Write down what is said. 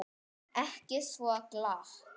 Ekki svo glatt.